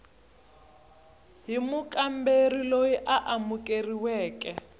hi mukamberi loyi a amukeriweke